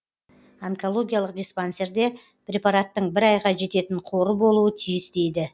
онкологиялық диспансерде препараттың бір айға жететін қоры болуы тиіс дейді